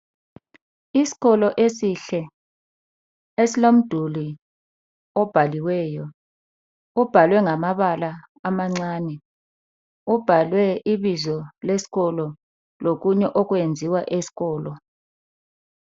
Isikolo esihle esilomduli obhaliweyo, obhalwe ngamabala amancane, obhalwe ibizo lesikolo lokunye okwenziwa esikolo.